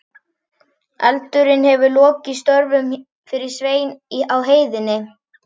Eldurinn hefur lokið störfum fyrir Svein á heiðinni.